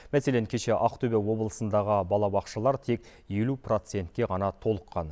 мәселен кеше ақтөбе облысындағы балабақшалар тек елу процентке ғана толыққан